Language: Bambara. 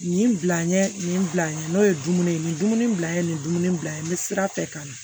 Nin bil'an ye nin bila an ye n'o ye dumuni ni dumuni bila n ye nin dumuni bila ye n bɛ sira bɛɛ kan